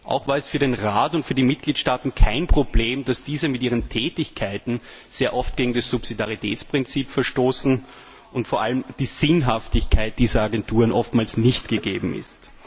Auch war es für den Rat und für die Mitgliedstaaten kein Problem, dass diese mit ihren Tätigkeiten sehr oft gegen das Subsidiaritätsprinzip verstoßen und vor allem die Sinnhaftigkeit dieser Agenturen oftmals nicht gegeben ist.